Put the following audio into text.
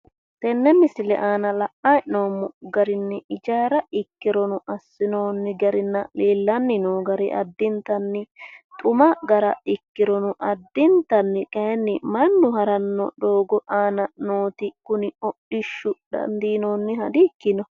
Tenne misile aana la'nanni hee'noommo garinni ijaara ikkirono assinoonni garinna leellanni noo gari addintanni xuma gara ikkirono, addintanni kayiinni mannu haranno doogo aana nooti kuni hodhishshu dandiinoonniha dikkino.